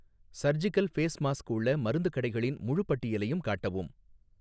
surgical face mask உள்ள மருந்துக் கடைகளின் முழுப் பட்டியலையும் காட்டவும்